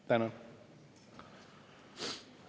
Tänan!